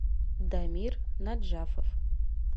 дамир наджафов